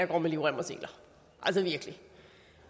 går med livrem og seler altså virkelig